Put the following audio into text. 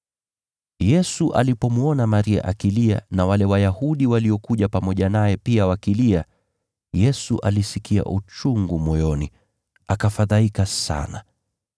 Yesu alipomwona Maria akilia na wale Wayahudi waliokuja pamoja naye pia wakilia, Yesu alisikia uchungu moyoni, akafadhaika sana.